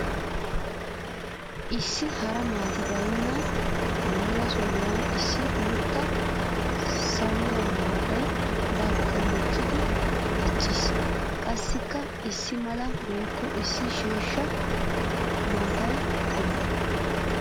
Issi hara maati baynna mela sohuwan issi guuta sawiya maatay barkka mokkiddi diccees. Qassikka issi mala woykko issi sheeshsha maata qommo.